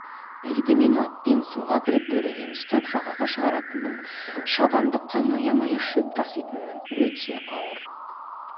еді мен атпен суға кіріп бөренені ұстап жағаға шығаратынмын шабындыққа мая-мая шөп таситынмын өте ауыр